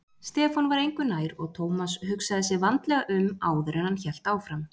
Stefán var engu nær og Thomas hugsaði sig vandlega um áður en hann hélt áfram.